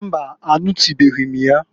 Mbaǃ Anụtụnụbeghị m ya.